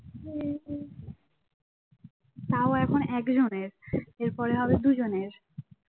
তাও এখন একজনের এরপর হবে দুজনের